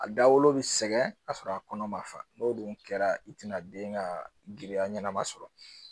A dawolo bɛ sɛgɛn ka sɔrɔ a kɔnɔ ma fa n'o dun kɛra i tɛna den ka girinya ɲɛnama sɔrɔ